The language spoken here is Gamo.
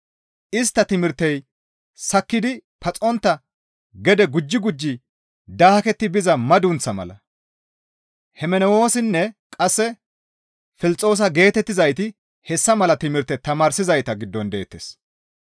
Istta timirtey sakkidi paxontta gede gujji gujji daaketti biza madunththa mala; Hemenewoosinne Qasse Filxoosa geetettizayti hessa mala timirte tamaarzayta giddon deettes.